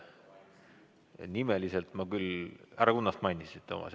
Härra Kunnast mainisid, Toomas.